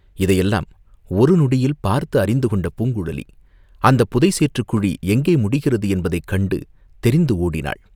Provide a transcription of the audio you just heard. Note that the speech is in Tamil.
இதையெல்லாம் ஒரு நொடியில் பார்த்து அறிந்து கொண்ட பூங்குழலி அந்தப் புதை சேற்றுக் குழி எங்கே முடிகிறது என்பதைக் கண்டு தெரிந்து ஓடினாள்.